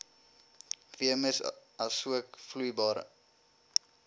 veemis asook vloeibare